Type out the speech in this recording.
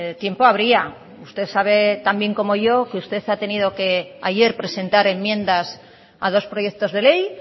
tiempo habría usted sabe tan bien como yo que usted ha tenido que ayer presentar enmiendas a dos proyectos de ley